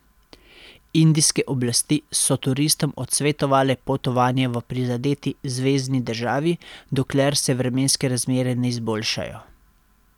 Indijske oblasti so turistom odsvetovale potovanja v prizadeti zvezni državi, dokler se vremenske razmere ne izboljšajo.